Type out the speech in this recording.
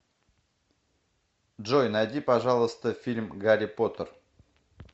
джой найди пожалуйста фильм гарри потер